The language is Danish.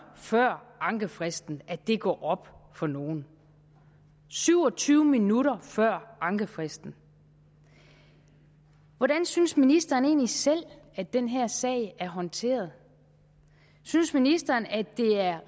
før ankefristen at det går op for nogen syv og tyve minutter før ankefristen hvordan synes ministeren egentlig selv at den her sag er håndteret synes ministeren at det er